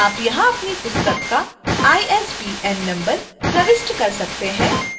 आप यहां अपनी पुस्तक का isbn number प्रविष्ट कर सकते हैं